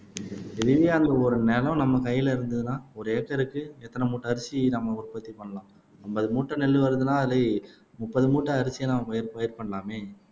திடீர்ன்னு அந்த ஒரு நிலம் நம்ம கையிலே இருந்ததுன்னா ஒரு ஏக்கருக்கு எத்தன மூட்டை அரிசி நம்ம உற்பத்தி பண்ணலாம் அம்பது மூட்டை நெல்லு வருதுன்னா அதிலே முப்பது மூட்டை அரிசியை நம்ம பயிர் பயிர் பண்ணலாமே